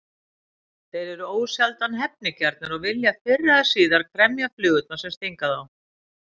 Þeir eru ósjaldan hefnigjarnir og vilja fyrr eða síðar kremja flugurnar sem stinga þá.